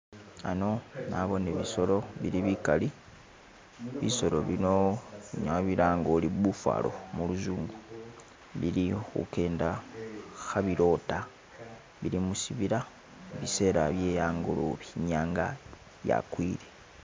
Hano naboone bisolo bili bigali bisolo bino unyala wabilanga ori buffalo mu luzungu bili khugenda khebiloda bili mushibila bisela byehangolobe inyanga yagwile.